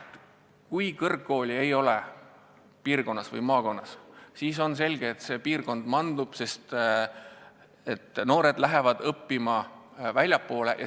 Kui kõrgkooli piirkonnas või maakonnas ei ole, siis on selge, et see kant mandub, sest noored lähevad õppima väljapoole.